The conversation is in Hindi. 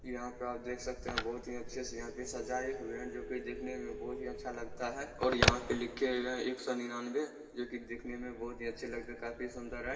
यहाँ पे आप देख सकते है बहुत अच्छे से यहाँ पे सजाए हुए हैं जो कि देखने में बहुत ही अच्छे लगते है और यहाँ पे लिखे हुए है। एक सौ निन्यानवे जो कि देखने में बहुत ही अच्छे लगते है। काफी सुंदर है।